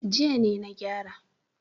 Jiya ne na gyara.